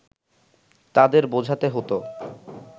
তাদের বোঝাতে হতো